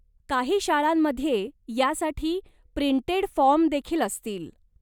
काही शाळांमध्ये यासाठी प्रिंटेड फॉर्मदेखील असतील.